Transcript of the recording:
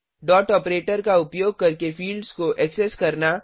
dot operator का उपयोग करके फिल्ड्स को ऐक्सेस करना